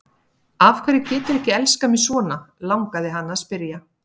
Af hverju geturðu ekki elskað mig svona, langaði hana til að spyrja.